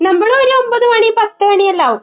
നമ്മൾ ഒരു ഒൻപത് മണി, പത്ത് മണിയെല്ലാം ആവും.